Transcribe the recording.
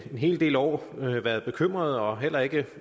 hel del år været bekymret og heller ikke